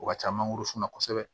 O ka ca mangoro sun na kosɛbɛ